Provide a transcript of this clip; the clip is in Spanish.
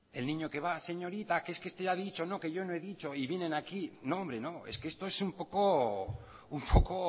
el niño que va señorita que es que este ha dicho no que yo no he dicho y vienen aquí no hombre no es que esto es un poco un poco